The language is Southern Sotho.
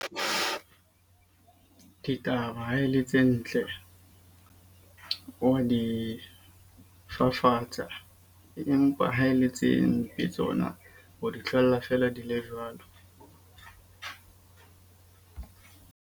Ke taba e le tse ntle, wa di fafatsa. Empa ha e le tse mpe tsona o di tlohella feela di le jwalo.